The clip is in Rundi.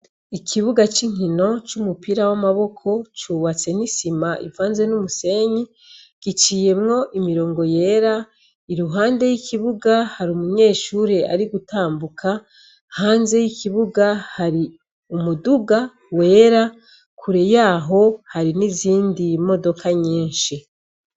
Ikibuga c'inkino c'umupira w'amaboko, cubatse n'isima ivanze n'umusenyi, giciyemwo imirongo yera, iruhande y'ikibuga hari umunyeshure ari gutambuka, hanze y'ikibuga hari umuduga wera, kure y'aho hari n'izindi modoka nyinshi.